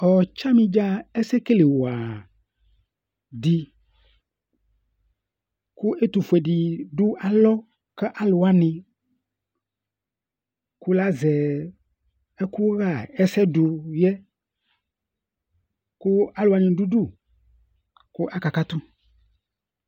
ɔtsani dza ɛsɛ kele wa di kò ɛtufue di do alɔ k'alò wani kò la zɛ ɛkò ɣa ɛsɛ do yɛ kò alò wani do udu k'aka katu